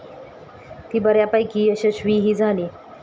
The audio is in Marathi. ती बऱ्यापैकी यशस्वीही झाली.